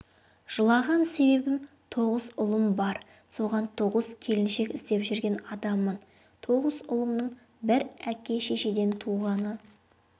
жылаған себебім тоғыз ұлым бар соған тоғыз келіншек іздеп жүрген адаммын тоғыз ұлымның бір әке-шешеден туғаны